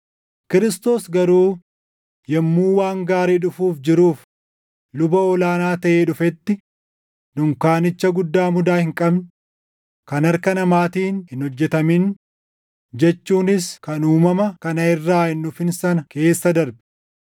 Kiristoos garuu yommuu waan gaarii dhufuuf jiruuf luba ol aanaa taʼee dhufetti, dunkaanicha guddaa mudaa hin qabne, kan harka namaatiin hin hojjetamin jechuunis kan uumama kana irraa hin dhufin sana keessa darbe.